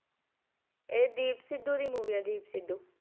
ਇਹ ਦੀਪ ਸਿੱਧੂ ਦੀ movie ਹੈ ਦੀਪ ਸਿੱਧੂ।